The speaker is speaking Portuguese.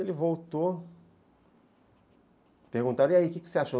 Ele voltou, perguntaram, e aí, o que você achou?